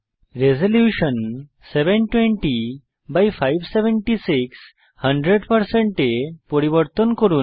resolution 720576 100 এ পরিবর্তন করুন